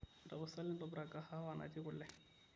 tapasali tobirakaki kahawa natii kule